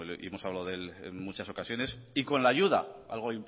hemos hablado de él en muchas ocasiones y con la ayuda algo